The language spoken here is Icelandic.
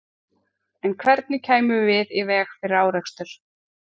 En hvernig kæmum við í veg fyrir árekstur?